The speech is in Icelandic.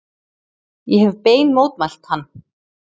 Ég hef bein mótmælti hann.